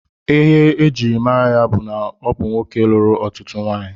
Ihe e jiri mara ya bụ na ọ bụ nwoke lụrụ ọtụtụ nwanyị